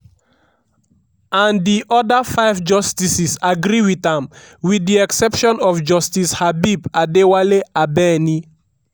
and di oda five justices agree wit am wit di exception of justice habeeb adewale abeni.